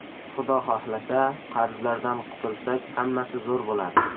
Xudo xohlasa, qarzlardan qutulsak, hammasi zo‘r bo‘ladi.